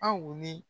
Aw ni